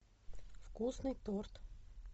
вкусный торт